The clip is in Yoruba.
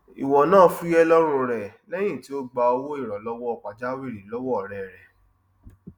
ìwọ náà fuyẹ lọrun re lẹyìn tí o gbà owó ìrànlọwọ pajawìrì lọwọ ọrẹ rẹ